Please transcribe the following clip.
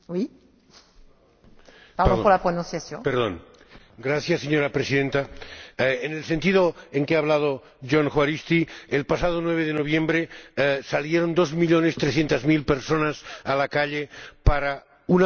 Señora Presidenta, en el sentido en que ha hablado Jon Juaristi, el pasado 9 de noviembre salieron dos millones trescientas mil personas a la calle para una jornada de participación ciudadana y política sobre su futuro.